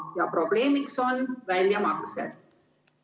Ja probleemiks on väljamaksed.